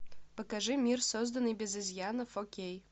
покажи мир созданный без изъяна фо кей